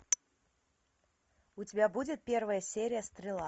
у тебя будет первая серия стрела